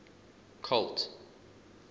colt